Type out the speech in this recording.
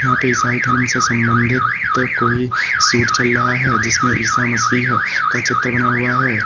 यहां पे ईसाई धर्म से संबंधित कोई शूट चल रहा है जिसमें ईसा मसीह का चित्र बना हुआ है।